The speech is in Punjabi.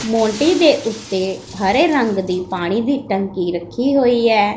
ਮੋਡੇ ਦੇ ਓੱਤੇ ਹਰੇ ਰੰਗ ਦੀ ਪਾਣੀ ਦੀ ਟਂਕੀ ਰੱਖੀ ਹੋਈ ਐ।